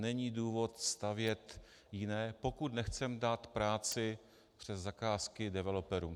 Není důvod stavět jiné, pokud nechceme dát práci přes zakázky developerům.